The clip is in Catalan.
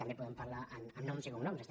també en podem parlar amb noms i cognoms